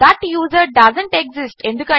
thought user doesn't exist